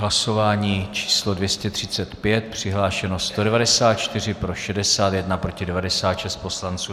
Hlasování číslo 235, přihlášeno 194, pro 61, proti 96 poslanců.